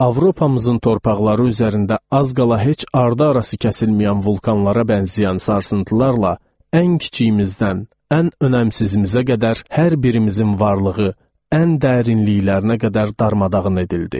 Avropamızın torpaqları üzərində az qala heç ardı-arası kəsilməyən vulkanlara bənzəyən sarsıntılarla, ən kiçiyimizdən, ən önəmsizimizə qədər hər birimizin varlığı, ən dərinliklərinə qədər darmadağın edildi.